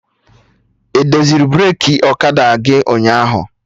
Edoziri breki ọkada gị ụnyaahụ?